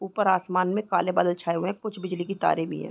ऊपर आसमान में काले बादल छाए हुए है कुछ बिजली की तारे भी है।